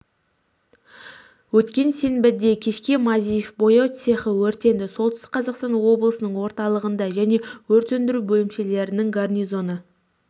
өткен сенбіде кешке мазеев бояу цехы өртенді солтүстік қазақстан облысының орталығында және өрт сөндіру бөлімшелерінің гарнизоны